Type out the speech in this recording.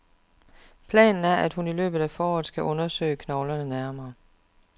Planen er, at hun i løbet af foråret skal undersøge knoglerne nærmere.